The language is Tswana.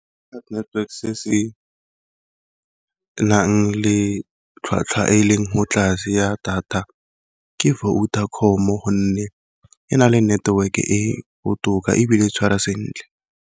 Network se se nang le tlhwatlhwa e e leng ho tlase ya data, ke Vodacom gonne e na le network e botoka ebile e tshwara sentle.